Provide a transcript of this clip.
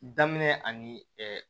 Daminɛ ani